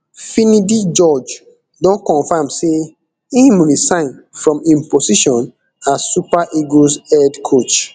finidi george don confam say im resign from im position as super eagles head coach